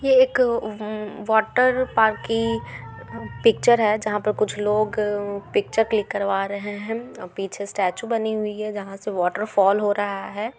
यह एक अमम वाटर पार्क की पिक्चर है जहा पे कुछ लोग पिक्चर क्लिक करवा रहे है पीछे स्टैचू बनी हुई है जहा से वाटर फॉल हो रहा है।